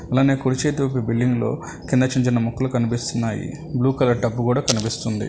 అలానే కుడిచేతి వైపు బిల్డింగ్ లో కింద చిన్న చిన్న మొక్కలు కనిపిస్తున్నాయి బ్లూ కలర్ టబ్బు కూడా కనిపిస్తుంది.